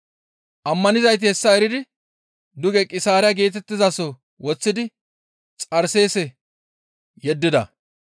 Ammanizayti hessa eridi duge Qisaariya geetettizaso woththidi Xarseese yeddida.